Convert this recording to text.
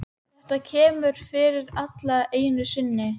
Þetta kemur fyrir alla einu sinni.